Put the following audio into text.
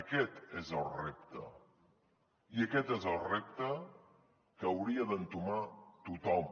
aquest és el repte i aquest és el repte que hauria d’entomar tothom